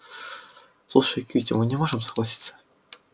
слушай кьюти мы не можем согласиться